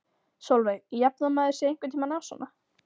Sólveig: Jafnar maður sig einhvern tímann á svona?